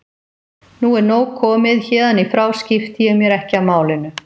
Nú er nóg komið, héðan í frá skipti ég mér ekki af málinu.